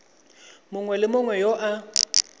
mongwe le mongwe yo a